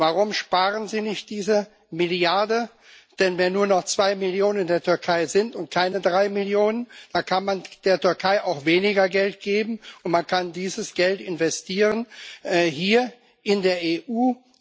Warum sparen Sie nicht diese Milliarde? Denn wenn nur noch zwei Millionen in der Türkei sind und keine drei Millionen, dann kann man der Türkei auch weniger Geld geben, und man kann dieses Geld investieren hier in der EU.